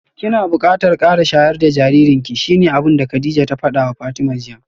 Kina bukatar kara shayar da jaririnki shine abinda Kadijah ta fadawa Fatima jiya